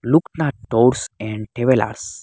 Loknath tours and travellers.